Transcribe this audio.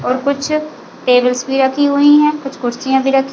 और कुछ टेबल्स भी रखी हुई है कुछ कुर्सियाँ भी रखी--